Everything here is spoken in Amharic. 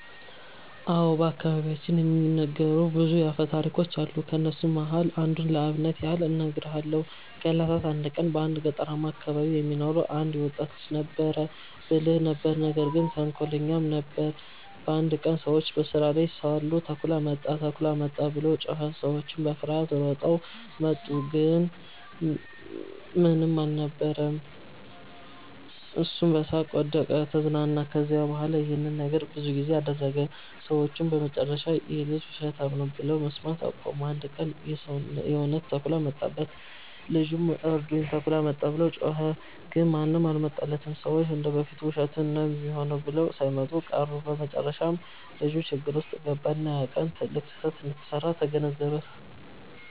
አዎ። በአከባቢያችን የሚነገሩ ብዙ አፈታሪኮች አሉ። ከነሱም መሃል አንዱን ለአብነት ያህል እነግርሃለው። ከ እለታት አንድ ቀን በአንድ ገጠርማ አከባቢ የሚኖር አንድ ወጣት ልጅ ነበረ። ብልህ ነበር ነገር ግን ተንኮለኛም ጭምር ነበር። አንድ ቀን ሰዎች በስራ ላይ ሳሉ “ተኩላ መጣ! ተኩላ መጣ!” ብሎ ጮኸ። ሰዎቹም በፍርሃት ሮጠው መጡ፣ ግን ምንም አልነበረም። እሱም በሳቅ ወደቀ(ተዝናና)። ከዚያ በኋላ ይህን ነገር ብዙ ጊዜ አደረገ። ሰዎቹም በመጨረሻ “ይህ ልጅ ውሸታም ነው” ብለው መስማት አቆሙ። አንድ ቀን ግን የእውነት ተኩላ መጣበት። ልጁም “እርዱኝ! ተኩላ መጣ!” ብሎ ጮኸ። ግን ማንም አልመጣለትም፤ ሰዎቹ እንደ በፊቱ ውሸቱን ነው ሚሆነው ብለው ሳይመጡ ቀሩ። በመጨረሻም ልጁ ችግር ውስጥ ገባ፣ እና ያ ቀን ትልቅ ስህተት እንደሰራ ተገነዘበ።